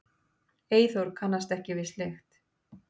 Eyþór kannast ekki við slíkt.